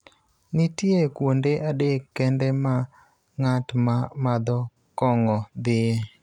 Nitie kuonde adek kende ma ng�at ma madho kong�o dhie: